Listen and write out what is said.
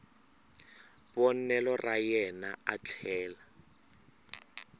vonelo ra yena a tlhela